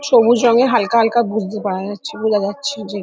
সবুজ রঙের হালকা হালকা বুঝতে পারা যাচ্ছে বোঝা যাচ্ছে যে --